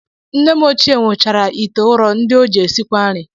Nne m ochie nwechara ite ụrọ ndị o ji esikwa nri